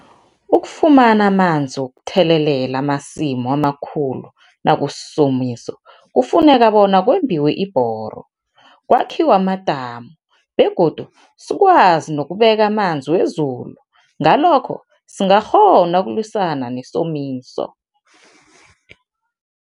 Ukufumana amanzi wokuthelelela amasimu amakhulu nakusisomiso, kufuneka bona kwembiwe ibhoro, kwakhiwe amadamu begodu sikwazi nokubeka amanzi wezulu, ngalokho sizakghona ukulwisana nesomiso.